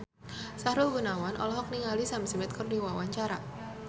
Sahrul Gunawan olohok ningali Sam Smith keur diwawancara